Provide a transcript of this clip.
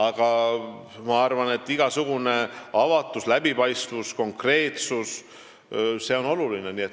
Aga ma arvan, et igasugune avatus, läbipaistvus ja konkreetsus on oluline.